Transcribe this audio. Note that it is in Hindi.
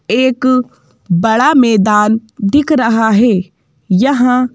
एक बड़ा मैदान दिख रहा है यहाँ--